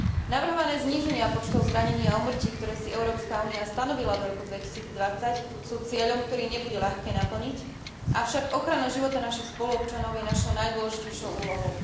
Navrhované zníženia počtov zranení a úmrtí, ktoré si Európska únia stanovila do roku 2020, sú cieľom, ktorý nebude ľahké naplniť, avšak ochrana života našich spoluobčanov je našou najdôležitejšou úlohou.